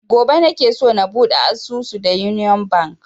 Gobe nake so na buɗe asusu da union bank